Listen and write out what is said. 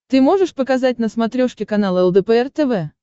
ты можешь показать на смотрешке канал лдпр тв